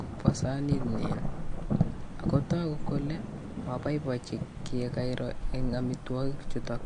kopwa saanit nyin ako togu kole mapoipaichi tukchekairo eng amitwogik chutok.